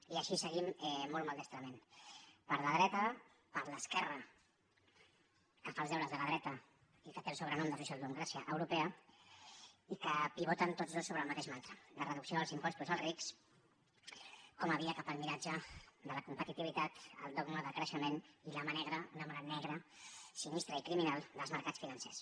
i així seguim molt maldestrament per la dreta per l’esquerra que fa els deures de la dreta i que té el sobrenom de socialdemocràcia europea i que pivoten tots dos sobre el mateix mantra la reducció dels impostos als rics com a via cap al miratge de la competitivitat el dogma del creixement i la mà negra una mà negra sinistra i criminal dels mercats financers